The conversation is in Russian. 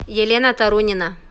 елена тарунина